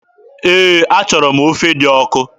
Ee, achọrọ m ofe dị ọkụ.